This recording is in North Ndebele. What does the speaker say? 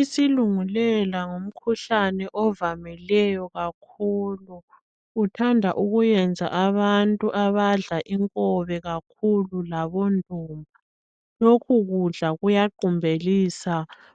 Isilungulela ngumkhuhlane ovamileyo kakhulu uthanda ukuyenza abantu abadla inkobe kakhulu labondumba lokhu kudla kuyaqumbelisa